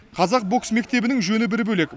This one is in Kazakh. қазақ бокс мектебінің жөні бір бөлек